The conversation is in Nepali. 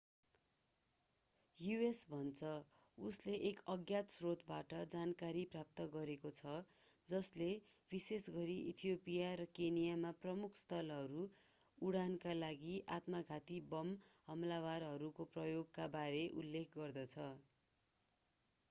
यु.एस. भन्छ उसले एक अज्ञात स्रोतबाट जानकारी प्राप्त गरेको छ जसले विशेषगरी इथियोपिया र केन्या मा प्रमुख स्थलहरू” उडाउनका लागि आत्मघाती बम हमलावरहरूको प्रयोगका बारे उल्लेख गर्दछ।